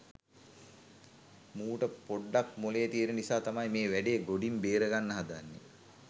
මූට පොඩ්ඩක් මොලේ තියන නිසා තමයි මේ වැඩේ ගොඩින් බේරගන්න හදන්නෙ.